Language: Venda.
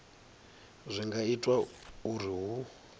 zwi nga itwa uri hu